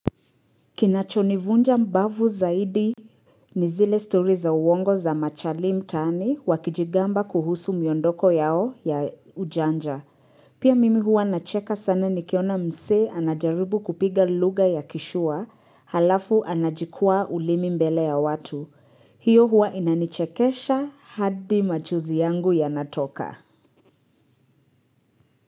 Kinachonivunja mbavu zaidi ni zile story za uongo za machali mtani wakijigamba kuhusu myondoko yao ya ujanja. Pia mimi huwa nacheka sana nikiona msee anajaribu kupiga lugha ya kishua halafu anajikua ulimi mbele ya watu. Hiyo huwa inanichekesha hadi machuzi yangu yanatoka.